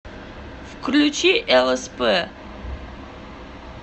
включи лсп